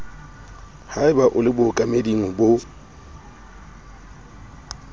haeba o le bookameding bo